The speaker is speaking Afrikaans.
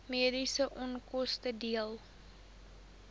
mediese onkoste dele